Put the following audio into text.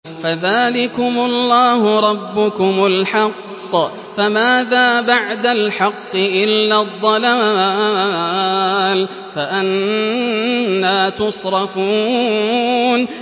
فَذَٰلِكُمُ اللَّهُ رَبُّكُمُ الْحَقُّ ۖ فَمَاذَا بَعْدَ الْحَقِّ إِلَّا الضَّلَالُ ۖ فَأَنَّىٰ تُصْرَفُونَ